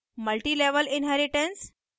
multi level inheritance